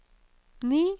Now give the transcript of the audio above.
ni